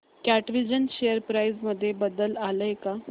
कॅटविजन share price मध्ये बदल आलाय का